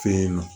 Fe yen nɔ